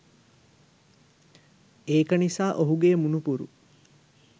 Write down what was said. ඒක නිසා ඔහුගේ මුණුපුරු